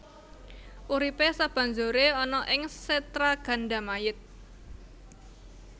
Uripe sabanjure ana ing Setragandamayit